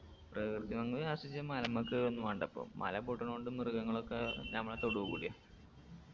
പ്രകൃതി ഭംഗി ആസ്വദിചാൻ മലമ്മ കേറു ഒന്നും വാണ്ട ഇപ്പൊ മല പൊട്ടണോണ്ട് മൃഗങ്ങളൊക്കെ നമ്മളെ തൊടൂ കൂടിയാ